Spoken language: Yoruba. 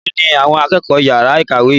Melo ni àwọn akẹ́kọ̀ọ́ yara ìkàwé yìí?